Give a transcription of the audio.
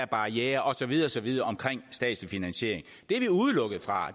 barrierer og så videre og så videre omkring statslig finansiering det er vi udelukket fra